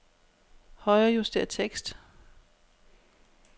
Højrejuster tekst.